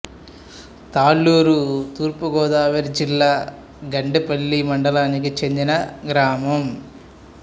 తాళ్లూరు తూర్పు గోదావరి జిల్లా గండేపల్లి మండలానికి చెందిన గ్రామం